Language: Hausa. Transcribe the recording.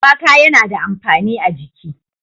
shuwaka yana da amfani a jiki.